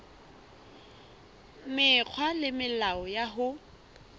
mekgwa le melao ya ho